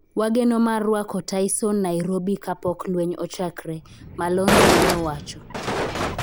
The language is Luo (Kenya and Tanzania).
Wageno mar rwako Tyson Nairobi kapok lweny ochakre, Malonza ne owacho